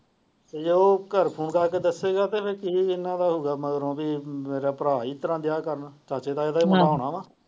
ਤੇ ਜੇ ਉਹ ਘਰ ਫੋਨ ਕਰਕੇ ਦੱਸਦਾ ਤਾ ਕੀ ਜਿਨ੍ਹਾਂ ਦਾ ਹੁੰਦਾ ਮੇਰਾ ਭਰਾ ਹੀ ਇਸ ਤਰਾਂ ਵਿਆਹ ਕਰਨਾ ਚਾਚੇ ਤਾਏ ਦਾ ਹੀ ਪੂਰਾ ਹੋਣਾ ਵਾ।